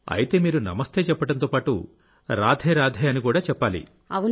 అయితేమీరు నమస్తే చెప్పడంతో పాటు రాధేరాధే అని కూడా చెప్పాలి